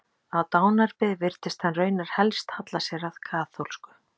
Á dánarbeði virtist hann raunar helst halla sér að kaþólsku.